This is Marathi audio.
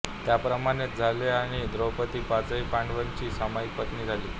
त्याप्रमाणेच झाले आणि द्रौपदी पाचही पांडवांची सामाईक पत्नी झाली